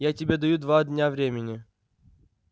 я тебе даю два дня времени